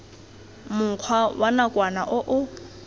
mokgwa wa nakwana o o